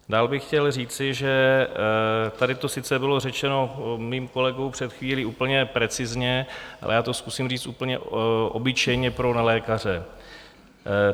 Dále bych chtěl říci, že tady to sice bylo řečeno mým kolegou před chvílí úplně precizně, ale já to zkusím říct úplně obyčejně pro nelékaře.